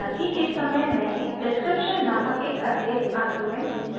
हाँलाकि इस समय मैंने description नामक एक अतिरिक्त argument जोड़ा है